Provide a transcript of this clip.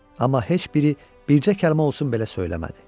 Amma heç biri bircə kəlmə olsun belə söyləmədi.